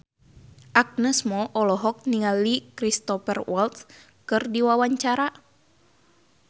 Agnes Mo olohok ningali Cristhoper Waltz keur diwawancara